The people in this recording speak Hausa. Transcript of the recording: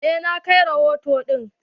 Eh na kai rahoto ɗin.